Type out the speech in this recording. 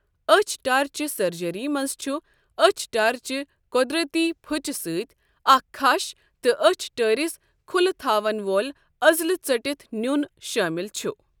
أچھ ٹارچہ سرجری منز چُھ أچھ ٹارۍ چِہ قدرتی پھُچہ سۭتۍ اکھ کَھش تہٕ أچھ ٹٲرِس کُھلہٕ تھاون وول عضلہٕ ژٔٹِتھ نیُن شامل چھُ۔۔